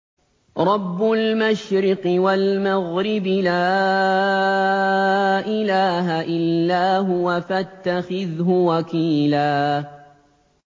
رَّبُّ الْمَشْرِقِ وَالْمَغْرِبِ لَا إِلَٰهَ إِلَّا هُوَ فَاتَّخِذْهُ وَكِيلًا